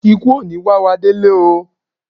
Ìkú ò ní wá wá délé oo.